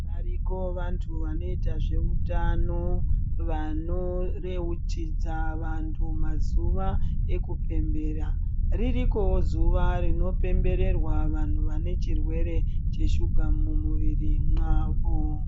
Variko vantu vanoita zveutano vanoyeuchidza vantu mazuva ekupembera .Ririkowo zuva rinopembererwa vanhu vane chirwere cheshuga mumuviri mwavo .